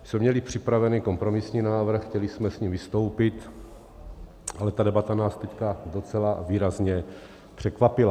My jsme měli připravený kompromisní návrh, chtěli jsme s ním vystoupit, ale ta debata nás teď docela výrazně překvapila.